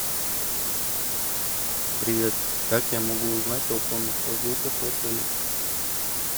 привет как я могу узнать о конных прогулках в отеле